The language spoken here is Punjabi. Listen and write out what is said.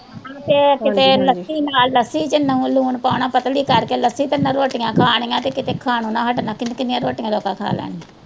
ਤੇ ਕਿਤੇ ਲੱਸੀ ਨਾਲ ਲੱਸੀ ਚ ਲੂਣ ਪਾਉਣਾ ਪਤਲੀ ਕਰਕੇ ਲੱਸੀ ਤੇ ਨਾਲ ਰੋਟੀਆਂ ਖਾਣੀਆਂ ਤੇ ਕਿਤੇ ਖਾਣੋ ਨਾ ਹਟਣਾ ਕਿੰਨੀਆਂ ਕਿੰਨੀਆਂ ਰੋਟੀਆਂ ਤੇ ਤੇ ਆਪਾ ਖਾ ਲੈਣੀਆਂ।